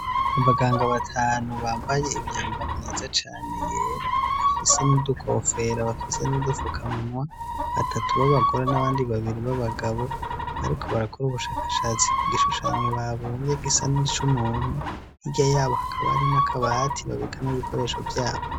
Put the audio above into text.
Mu baganga batanu bambaye imyambaro myiza cane yera bafise n'udukofera bafise n'udufukamunwa. Batatu b'abagore n'abandi babiri b'abagabo bariko barakora ubushakashatsi ku gishushanyo babumvye gisa n'ico umuntu nkirya yabo hakaba ari n'akabati babikamwo ibikoresho vyabo.